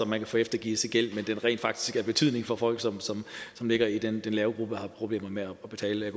man få eftergivet sin gæld men at det rent faktisk har betydning for folk som som ligger i den lave gruppe og har problemer med at betale jeg